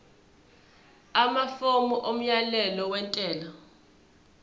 amafomu omyalelo wentela